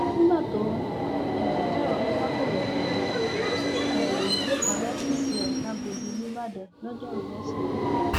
nígbà tó ń um sọrọ yìí fakọròyìn èdè um òyìnbó kan lọfíìsì ẹ làgọdì nííbàdàn lojoruu wesidee